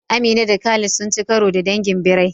Amina da Khalid sun ci karo da dangin birai